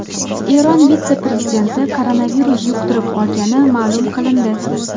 Eron vitse-prezidenti koronavirus yuqtirib olgani ma’lum qilindi.